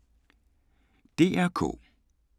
DR K